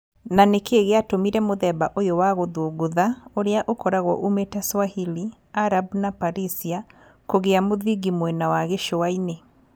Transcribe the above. Na nĩ kĩĩ gĩatũmire mũthemba ũyũ wa gũthũngũtha ũrĩa ũkoragwo uumĩte Swahili, Arab na perisia kũgĩa mũthingi mwena wa gĩcũa-inĩ.